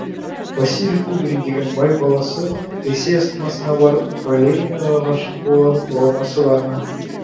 василий кубрин деген бай баласы ресей астанасына барып балеринаға ғашық болмасы бар ма